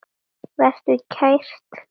Vertu kært kvödd.